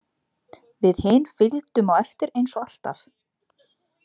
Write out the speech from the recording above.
Við hin fylgdum á eftir eins og alltaf.